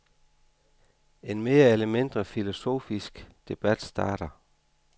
En mere eller mindre filosofisk debat starter.